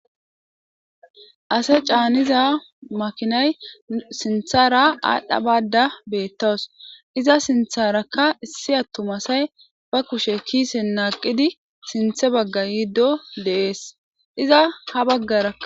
Asa caniza makinay sinthara adha Bada betaw iza sintha issi atuma asati ba kushe kisen naqidi sinthe bags yido de'esiza iza ha bagaraka